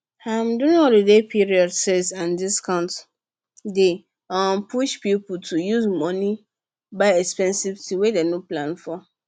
um during holiday period sales and discounts dey um push people to use money buy expensive things wey dem no plan for